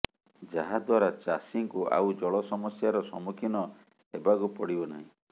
ଯାହା ଦ୍ୱାରା ଚାଷୀଙ୍କୁ ଆଉ ଜଳ ସମସ୍ୟା ର ସମ୍ମୁଖୀନ ହେବାକୁ ପଡିବ ନାହିଁ